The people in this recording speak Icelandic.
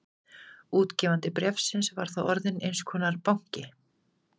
Útgefandi bréfsins var þá orðinn eins konar banki.